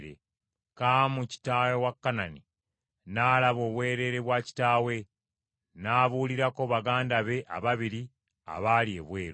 Kaamu kitaawe wa Kanani n’alaba obwereere bwa kitaawe, n’abuulirako baganda be ababiri abaali ebweru.